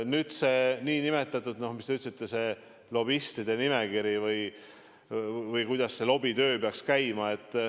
Nüüd see, mis te ütlesite, nn lobistide nimekiri, või see, kuidas see lobitöö peaks käima.